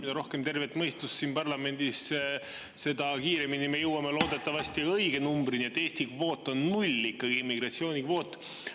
Mida rohkem tervet mõistust siin parlamendis, seda kiiremini me loodetavasti õige numbrini jõuame, et Eesti immigratsioonikvoot on null.